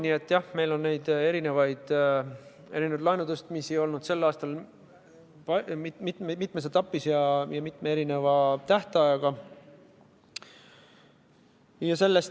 Nii et jah, meil on neid erinevaid laenuvõtmisi olnud sel aastal mitmes etapis ja mitme erineva tähtajaga.